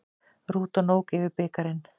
Rútan ók yfir bikarinn